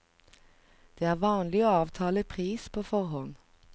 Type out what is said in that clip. Det er vanlig å avtale pris på forhånd.